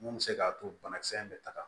Mun bɛ se k'a to banakisɛ in bɛ taga